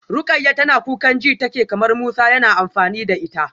Rukayyah tana kukan ji take kamar Musa yana amfani da ita.